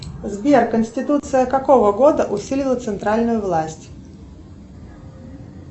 сбер конституция какого года усилила центральную власть